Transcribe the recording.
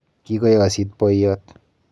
Kikoyosit boiyot.